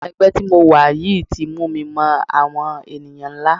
Ẹgbẹ́ tí mo wà yìí ti mú mi mọ àwọn ènìyàn ńlá.